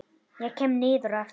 Ég kem niður á eftir.